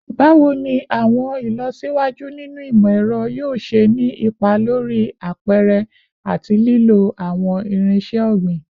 Bawo ni awọn ilọsiwaju ninu imọ-ẹrọ yoo ṣe ni ipa lori apẹrẹ ati lilo awọn irinṣẹ ogbin?